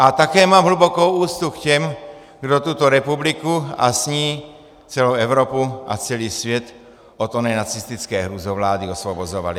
A také mám hlubokou úctu k těm, kdo tuto republiku a s ní celou Evropu a celý svět od oné nacistické hrůzovlády osvobozovali.